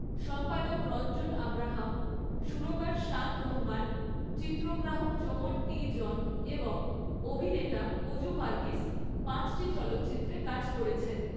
সম্পাদক রঞ্জন আব্রাহাম, সুরকার শান রহমান, চিত্রগ্রাহক জোমন টি. জন এবং অভিনেতা অজু ভার্গিস পাঁচটি চলচ্চিত্রে কাজ করেছেন।